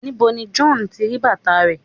níbo ni John tí ri bàtà rẹ